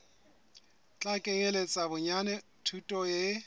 tla kenyeletsa bonyane thuto e